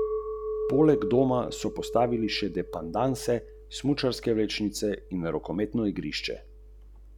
A v pravljicah je vse mogoče!